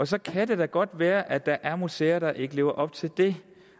så kan det da godt være at der er museer der ikke lever op til det